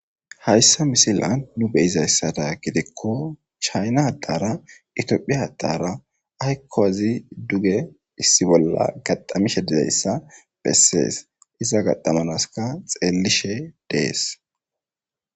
Hayssa misilan nu beyizayssada gidikko chayna adara itiophiya adara aykkoazi duge issi bolla gaxamishe dizayssa bessees iza gaxamanaska xeelishe dees.